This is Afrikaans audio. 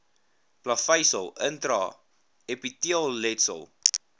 plaveisel intra epiteelletsel